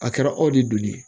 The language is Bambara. A kɛra aw de donni ye